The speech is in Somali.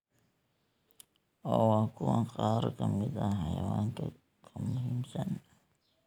oo waa kuwan qaar ka mid ah xayawaanka ka muhiimsan: